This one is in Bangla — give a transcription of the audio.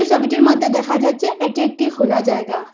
ছবিটির মধ্যে দেখা যাচ্ছে এটি একটি খোলা জায়গা।